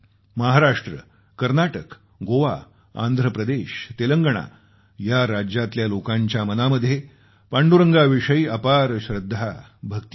महाराष्ट्र कर्नाटक गोवा आंध्र प्रदेश तेलंगणा या राज्यातल्या लोकांच्या मनामध्ये पांडुरंगाविषयी अपार श्रद्धा भक्ती आहे